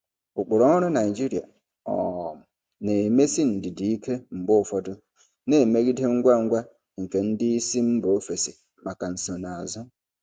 Ụkpụrụ ọrụ Naijiria um na-emesi ndidi ike mgbe ụfọdụ, na-emegide ngwa ngwa nke ndị isi mba ofesi maka nsonaazụ.